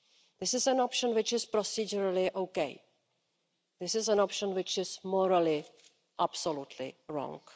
This is an option which is procedurally okay but this is an option which is morally absolutely wrong.